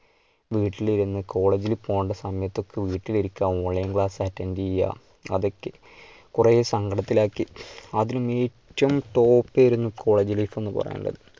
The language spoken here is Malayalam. വീട്ടിലിരുന്ന് college ൽ പോണ്ടെ സമയത്തൊക്കെ വീട്ടിലിരിക്ക online class attend ചെയ്യുക അതൊക്കെ കുറെ സങ്കടത്തിൽ ആക്കി. അതിന് ഏറ്റവും top ആയിരുന്നു college life പറയാൻ ഉള്ളത്.